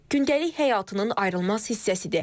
Gündəlik həyatının ayrılmaz hissəsidir.